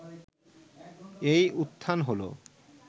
এই উত্থান হলো